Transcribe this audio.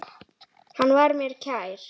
Hann var mér kær.